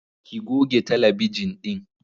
Ki goge talabijin ɗin.